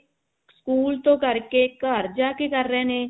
school ਤੋਂ ਕਰਕੇ ਘਰ ਜਾ ਕਿ ਕਰ ਰਹੇ ਨੇ